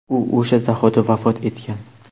u o‘sha zahoti vafot etgan.